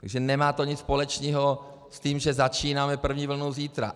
Takže nemá to nic společného s tím, že začínáme první vlnu zítra.